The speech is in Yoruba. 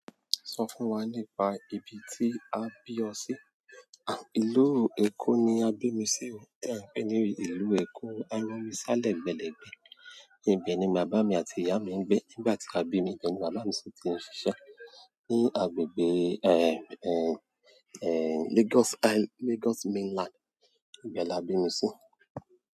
Sọ fún wa nípa ibi tí a bí ọ sí? Ìlú Èkó ni a bí mi sío tí a ń pè ní ìlú Èkó. Àromi sá lẹ́gbẹ̀ẹ́ lẹ́gbẹ̀ẹ́, ibẹ̀ ni bàbá mi àti ìyá mi ń gbé. Nígbà tí a bí mi, ìbe ni bàbá mi ṣi ti ń ṣiṣẹ́ ní agbègbè, Lagos Mainland. Ìbẹ́ là bí mi sí.